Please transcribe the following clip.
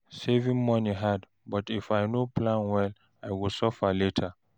Saving money hard, but if I no plan well, I go suffer later.